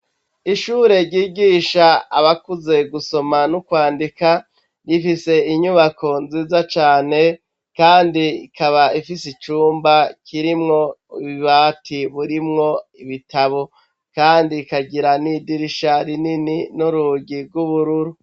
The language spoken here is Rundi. Ishure ry'igisha abakuze gusoma nukwandika .Rifise inyubako nziza cane kandi ikaba ifise icumba kirimwo bibati burimwo ibitabo kandi ikagira n'idirisha rinini n'urugi rw'ubururu.